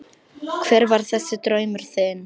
Hver var þessi draumur þinn?